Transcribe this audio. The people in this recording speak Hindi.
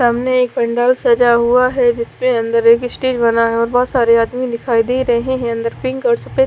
सामने एक पंडाल सजा हुआ है जिस पे अंदर एक स्टेज बना है और बहुत सारे आदमी दिखाई दे रहे हैं अंदर पिंक और सफेद--